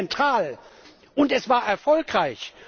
Aber es ist zentral, und es war erfolgreich!